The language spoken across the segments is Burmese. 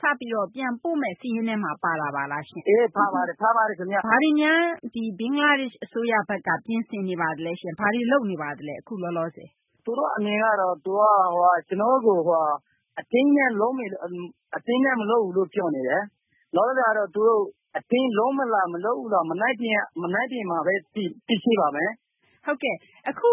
စပြီးတော့ ပြန်ပို့မယ့် စာရင်းထဲမှာ ပါတာပါလားရှင့်။ ပါပါတယ် ခင်ဗျ။ ဘင်္ဂလားဒေရှ့် အစိုးရဘက်က ဘာတွေများ ပြင်ဆင်နေပါသလဲရှင့်။ ဘာတွေ လုပ်နေပါသလဲ အခု လောလောဆယ်။ သူတို့ အနေနဲ့ကတော့ ကျနော်တို့ကို အတင်းအကျပ် မလုပ်ဘူးလို့ ပြောနေတယ်။ လောလောဆယ်မှာတော့ သူတို့ အတင်း လုပ်မလား မလုပ်ဘူးလား မနက်ဖြန်မှဘဲ သိရှိပါမယ်။ ဟုတ်ကဲ့။ အခု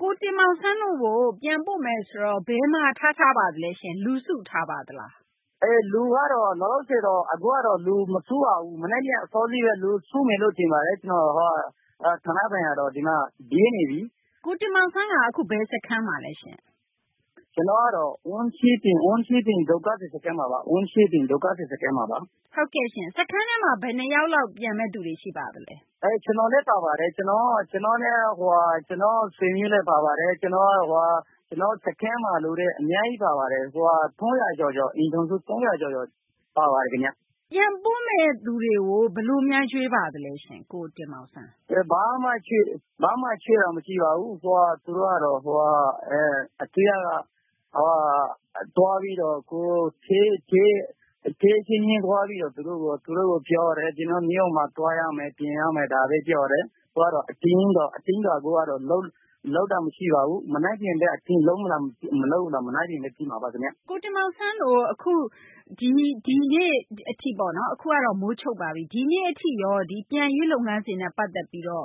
ကိုတင်မောင်ဆန်းတို့ကို ပြန်ပို့မယ်ဆိုတော့ ဘယ်မှာ ထားထားပါသလဲရှင့်။ လူစုထားပါသလား။ အခုကတော့ မစုပါဘူး။ မနက်ဖြန်တော့ အစောကြီးဘဲ စုမယ်လို့ ထင်ပါတယ်။ ဒီမှာ ဌာနဆိုင်ရာတော့ ဒီမှာ ရေးနေပြီ။ ကိုတင်မောင်ဆန်းက အခု ဘယ်စခန်းမှာလဲရှင့်။ ကျနော်ကတော့ Unchiprang ဒုက္ခသည် စခန်းမှာပါ။ စခန်းထဲမှာ ဘယ်နှယောက်လောက် ရှိပါသလဲ။ ကျနော်လည်း ပါပါတယ်။ ကျနော့် ဆွေမျိုးတွေလည်း ပါပါတယ်။ ကျနော်တို့ စခန်းမှာ လူတွေ အများကြီး ပါပါတယ်။ အိမ်ထောင်စု ၃၀၀ ကျော်ကျော် ပါပါတယ် ခင်ဗျ။ ပြန်ပို့မယ့်သူတွေကို ဘယ်လို ရွေးပါသလဲရှင့်။ ဘာမှ ရွေးတာ မရှိပါဘူး။ အစိုးရက သူတို့ အချင်းချင်းဘဲ ပြောပါတယ်။ ကျနော်တို့ မြို့မှာ သွားရမယ်။ ပြန်ရမယ် ဒါဘဲ ပြောတယ်။ အတင်းကြီးတော့ လုပ်တာ မရှိပါဘူး။ မနက်ဖြန်တော့ အတင်းလုပ်လား မလုပ်လား မနက်ဖြန်မှ သိမှာပါ ခင်ဗျ။ ကိုတင်မောင်ဆန်းတို့ ဒီနေ့ အထိပေါ့နော်။ အခုကတော့ မိုးချုပ်ပါပြီ။ ဒီနေ့ အထိရော ပြန်ရေး လုပ်ငန်းစဉ်နဲ့ ပတ်သက်ပြီးတော့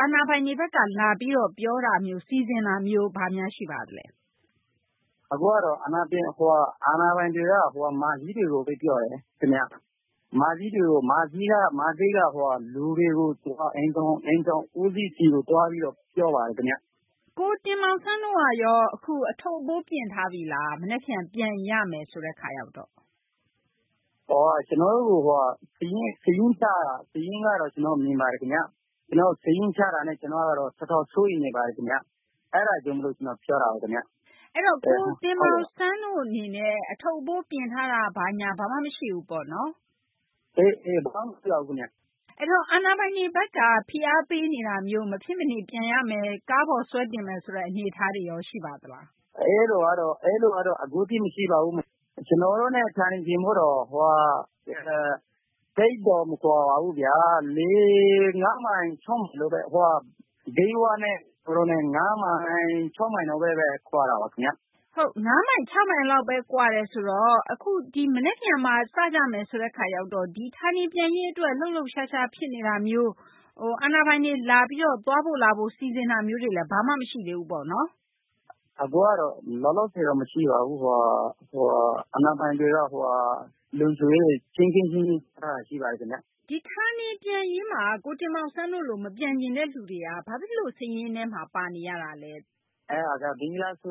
အာဏာပိုင်တွေ ဘက်က လာပြီးတော့ ပြောတာမျိုး စီစဉ်တာမျိုး ဘာများ ရှိပါသလဲ။ အခုကတော့ အာဏာပိုင်တွေက လူကြီးတွေကိုဘဲ ပြောပါတယ်။ လူကြီးတွေက အိမ်ထောင် ဦးစီးတွေကို သွားပြီး ပြောပါတယ် ခင်ဗျ။ ကိုတင်မောင်ဆန်းတို့ကရော အခု အထုပ်အပိုး ပြင်ထားပြီလား မနက်ဖြန် ပြန်ရမယ်ဆိုတော့။ ကျနော်တို့ကို စာရင်းချတာ။ စာရင်းမှာတော့ မြင်ပါတယ် ခင်ဗျ။ ကျနော်တို့ကို စာရင်းချတာနဲ့ တော်တော်လေးကို စိုးရိမ်နေပါတယ် ခင်ဗျ။ အဲဒါကြောင့် မို့လို့ ကျနော် ပြောပါတယ် ခင်ဗျ။ အဲတော့ ကိုတင်မောင်ဆန်းတို့ အနေနဲ့ အထုပ် အပိုး ပြင်ထားတာ ဘာညာ ဘာမှ မရှိဘူးပေါ့။ ဘာမှ မရှိပါဘူး ခင်ဗျ။ အဲဒီတော့ အာဏာပိုင်တို့ဘက်ကရော ဖိအားပေးနေတာမျိုး မဖြစ်မနေ ပြန်ရမယ်။ ကားပေါ်ဆွဲတင်မယ်ဆိုတဲ့ အနေအထားရော ရှိပါသလားရှင့်။ အဲလို ကတော့ အခုထိ မရှိပါဘူး။ ကျနော်တို့နဲ့ ဌာနေပြန်ဖို့နဲ့က သိပ်တော့ မကွာပါဘူးခင်ဗျာ။ ၅ မိုင် ၆ မိုင် လောက်ဘဲ ဝေးတာပါ။ ၅ မိုင် ၆ မိုင် လောက်ဘဲ ကွာတယ်ဆိုတော့ မနက်ဖြန်မှာ စကြမယ်ဆိုတဲ့ အခါရောက်တော့ ဌာနေပြန်ရေး အတွက် လှုပ်လှုပ်ရှားရှား ဖြစ်နေတာမျိုး အာဏာပိုင်တွေ လာပြီးတော့ သွားဖို့ လာဖို့ ပြင်ဆင်တာမျိုးတွေလည်း ဘာမှ မရှိသေးဘူးပေါ့နော်။ လောလောဆယ်တော့ မရှိပါဘူး။ အာဏာပိုင်တွေက လုံခြုံရေးတွေ တင်းတင်းကြပ်ကြပ် ချထားတာ ရှိပါတယ်။ ဌာနေပြန်ရေးမှာ ကိုတင်မောင်ဆန်းတို့လို မပြန်ချင်တဲ့သူတွေက ဘာဖြစ်လို့ စာရင်းထဲမှာ ပါနေရတာလဲ။ အဲဒါက ဘင်္ဂလား အစို